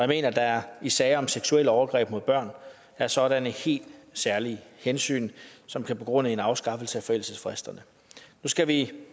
mener at der i sager om seksuelle overgreb mod børn er sådanne helt særlige hensyn som kan begrunde en afskaffelse af forældelsesfristerne nu skal vi